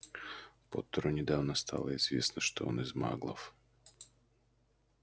поттеру недавно стало известно что он из маглов